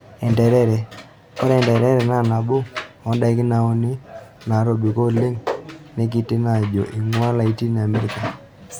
Enterere; Ore entere naa naboo ondaikin nauni naatobiko oleng' neitekini ajo eng'ua Latin America.